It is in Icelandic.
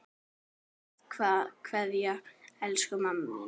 HINSTA KVEÐJA Elsku mamma mín.